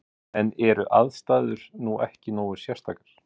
En eru aðstæður nú ekki nógu sérstakar?